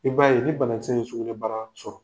I b'a ye ni banakisɛ ye sugunɛ bara sɔrɔ.